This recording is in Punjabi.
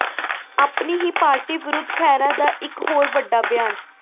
ਆਪਣੀ ਹੀ ਪਾਰਟੀ ਵਿਰੁੱਧ ਖਹਿਰਾ ਦਾ ਇਕ ਹੋਰ ਵੱਡਾ ਬਿਆਨ